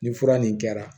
Nin fura nin kɛra